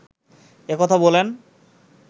এ কথা বলেন